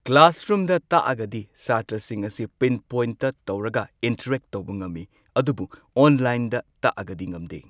ꯀ꯭ꯂꯥꯁꯔꯨꯝꯗ ꯇꯥꯛꯑꯒꯗꯤ ꯁꯥꯇ꯭ꯔꯁꯤꯡ ꯑꯁꯤ ꯄꯤꯟꯄꯣꯏꯟꯠ ꯇꯧꯔꯒ ꯏꯟꯇꯔꯦꯛ ꯇꯧꯕ ꯉꯝꯃꯤ꯫ ꯑꯗꯨꯒ ꯑꯣꯟꯂꯥꯏꯟ ꯗ ꯇꯥꯛꯑꯒꯗꯤ ꯉꯝꯗꯦ꯫